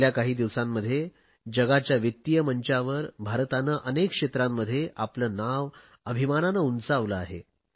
गेल्या काही दिवसांमध्ये जगाच्या वित्तीय मंचावर भारताने अनेक क्षेत्रांमध्ये आपले नाव अभिमानाने उंचावले आहे